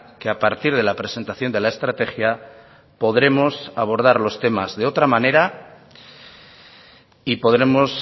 que a partir de la presentación de la estrategia podremos abordar los temas de otra manera y podremos